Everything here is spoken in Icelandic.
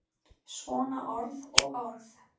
Svona orð og orð.